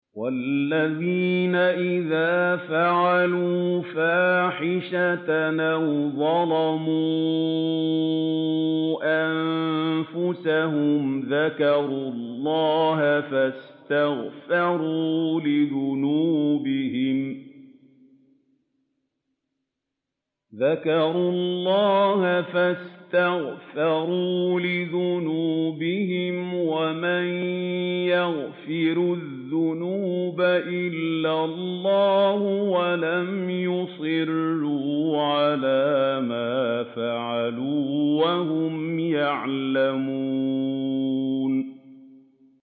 وَالَّذِينَ إِذَا فَعَلُوا فَاحِشَةً أَوْ ظَلَمُوا أَنفُسَهُمْ ذَكَرُوا اللَّهَ فَاسْتَغْفَرُوا لِذُنُوبِهِمْ وَمَن يَغْفِرُ الذُّنُوبَ إِلَّا اللَّهُ وَلَمْ يُصِرُّوا عَلَىٰ مَا فَعَلُوا وَهُمْ يَعْلَمُونَ